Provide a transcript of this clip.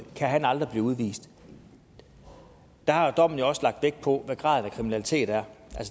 kan han aldrig blive udvist der har dommen jo også lagt vægt på hvad graden af kriminalitet er